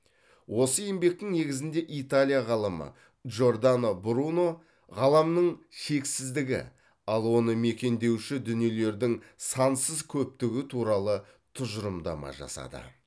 осы еңбектің негізінде италия ғалымы джордано бруно ғаламның шексіздігі ал оны мекендеуші дүниелердің сансыз көптігі туралы тұжырымдама жасады